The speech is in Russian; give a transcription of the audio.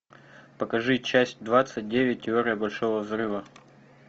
покажи часть двадцать девять теория большого взрыва